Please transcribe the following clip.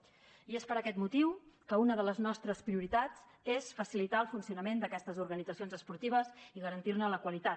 i és per aquest motiu que una de les nostres prioritats és facilitar el funcionament d’aquestes organitzacions esportives i garantir ne la qualitat